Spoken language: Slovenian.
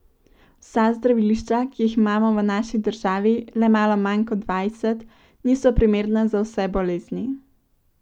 Vsa zdravilišča, ki jih imamo v naši državi le malo manj kot dvajset, niso primerna za vse bolezni.